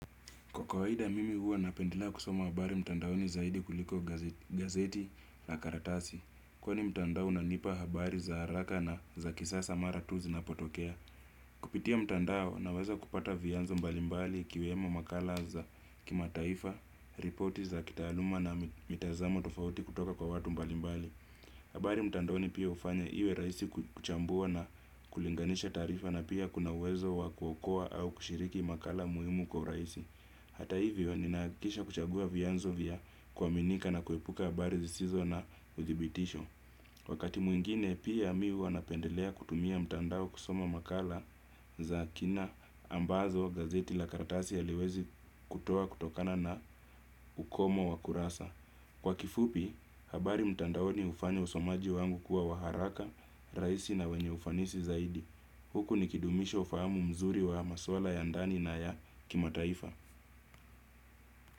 Kwa kawaida mimi huwa napendelea kusoma habari mtandaoni zaidi kuliko gazeti na karatasi. Kwani mtandao unanipa habari za haraka na za kisasa mara tu zinapotokea. Kupitia mtandao naweza kupata vyanzo mbalimbali ikiwemo makala za kimataifa, ripoti za kitaaluma na mitazamo tofauti kutoka kwa watu mbalimbali. Habari mtandaoni pia hufanya iwe rahisi kuchambua na kulinganisha taarifa na pia kuna uwezo wa kuokoa au kushiriki makala muhimu kwa urahisi. Hata hivyo, ninaahakikisha kuchagua vyanzo vya kuaminika na kuepuka habari zisizo na uthibitisho. Wakati mwingine, pia mi huwa napendelea kutumia mtandao kusoma makala za kina ambazo gazeti la karatasi haliwezi kutoa kutokana na ukomo wa kurasa. Kwa kifupi, habari mtandaoni hufanya usomaji wangu kuwa wa haraka, rahisi na wenye ufanisi zaidi. Huku nikidumisha ufahamu mzuri wa maswala ya ndani na ya kimataifa.